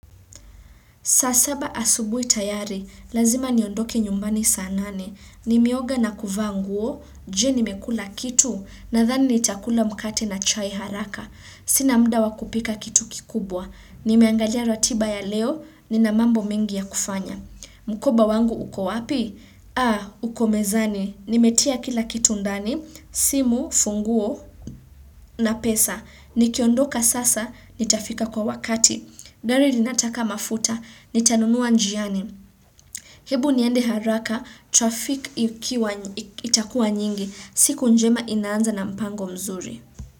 Saa saba asubuhi tayari, lazima niondoke nyumbani saa nane. Nimeoga na kuvaa nguo, je nimekula kitu, nadhani nitakula mkate na chai haraka. Sina muda wa kupika kitu kikubwa. Nimeangalia ratiba ya leo, nina mambo mengi ya kufanya. Mkoba wangu uko wapi? Aa, uko mezani. Nimetia kila kitu ndani, simu, funguo, na pesa. Nikiondoka sasa, nitafika kwa wakati. Gari linataka mafuta, nitanunua njiani. Hebu niende haraka, traffic itakuwa nyingi, siku njema inaanza na mpango mzuri.